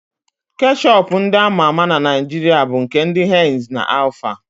Keshọp ndị ama ama na Naịjiria bụ nke ndị henz na alfa.